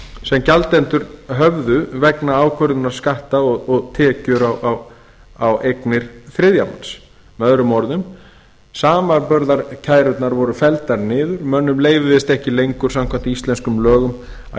sem gjaldendur höfðu vegna ákvörðunar skatta á tekjur og eignir þriðja manns með öðrum orðum samanburðarkærurnar voru felldar niður mönnum leyfðist ekki lengur samkvæmt íslenskum lögum að kæra með öðrum orðum samanburðarkærurnar voru felldar niður mönnum leyfðist ekki lengur samkvæmt íslenskum lögum að